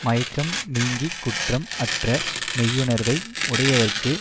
மயக்கம் நீங்கி குற்றம் அற்ற மெய்யுணர்வை உடையவர்க்கு